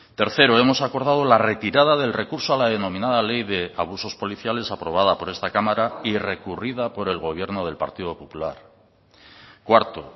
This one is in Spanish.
tercero hemos acordado la retirada del recurso a la denominada ley de abusos policiales aprobada por esta cámara y recurrida por el gobierno del partido popular cuarto